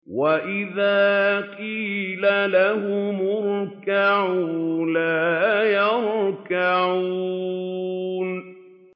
وَإِذَا قِيلَ لَهُمُ ارْكَعُوا لَا يَرْكَعُونَ